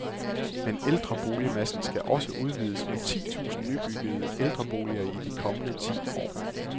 Men ældreboligmassen skal også udvides med ti tusind nybyggede ældreboliger i de kommende ti år.